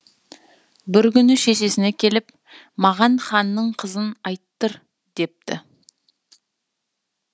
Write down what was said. бір күні шешесіне келіп маған ханның қызын айттыр депті